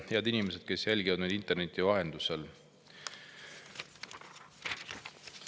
Head inimesed, kes te jälgite meid interneti vahendusel!